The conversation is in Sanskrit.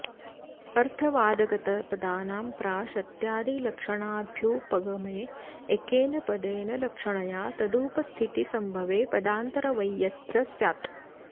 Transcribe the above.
अर्थवादगतपदानां प्राशत्यादिलक्षणाभ्युपगमे एकेन पदेन लक्षणया तदुपस्थितिसम्भवे पदान्तरवैयथ्य स्यात्